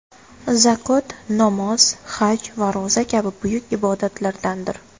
Zakot namoz, haj va ro‘za kabi buyuk ibodatlardandir.